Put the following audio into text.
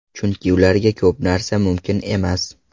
Chunki ularga ko‘p narsa mumkin emas.